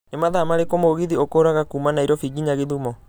Nĩ mathaa marĩkũ mũgithi ũkuraga kuuma Nairobi nginya githumo